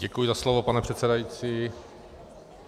Děkuji za slovo, pane předsedající.